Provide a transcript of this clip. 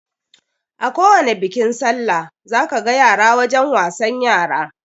Akowani bikin sallah za ka ga yara wajen wasan yara